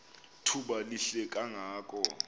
thuba lihle kangako